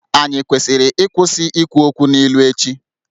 Ànyị kwesịrị ịkwụsị ikwu okwu n’ilu ​​echi?